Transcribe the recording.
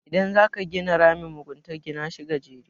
idan za ka gina ramin mugunta Gina shi gajere